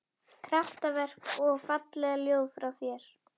Kraftaverk og falleg ljóð frá þér